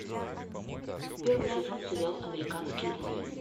первый сезон сериал американские боги